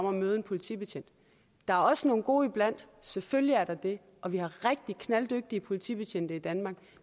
at møde en politibetjent der er også nogle gode iblandt selvfølgelig er der det og vi har rigtig knalddygtige politibetjente i danmark